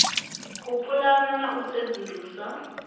u pulana na u sedzulusa